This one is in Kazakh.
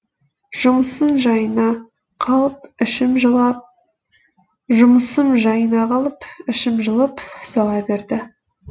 жұмысым жайына қалып ішім жылып сала берді